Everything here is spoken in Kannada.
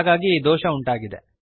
ಹಾಗಾಗಿ ಈ ದೋಷ ಉಂಟಾಗಿದೆ